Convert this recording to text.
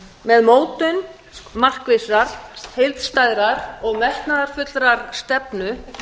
með mótun markvissrar heildstæðrar og metnaðarfullrar stefnu